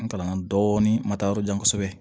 N kalanna dɔɔnin ma taa yɔrɔ jan kosɛbɛ